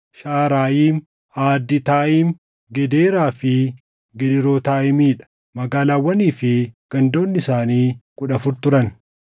Shaʼarayiim, Aaditaayim, Gedeeraa fi Gedeerootaayimii dha; magaalaawwanii fi gandoonni isaanii kudha afur turan.